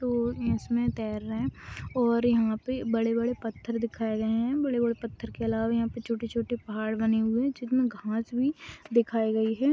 और इसमे तेर रहे और यहा पे बड़े बड़े पथर दिखाए गए है बड़े बड़े पथर के अलावा यहा पे छोटी छोटी पहाड़ बने हुए है जिसमे घास भी दिखाई गई है।